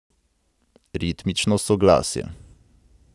Ritmično soglasje.